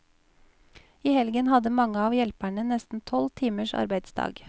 I helgen hadde mange av hjelperne nesten tolv timers arbeidsdag.